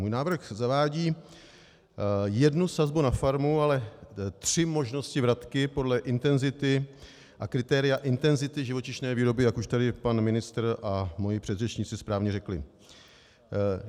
Můj návrh zavádí jednu sazbu na farmu, ale tři možnosti vratky podle intenzity a kritéria intenzity živočišné výroby, jak už tady pan ministr a moji předřečníci správně řekli.